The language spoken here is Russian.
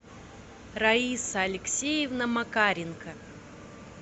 раиса алексеевна макаренко